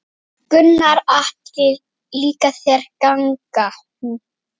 Gunnar Atli: Líkaði þér gangan?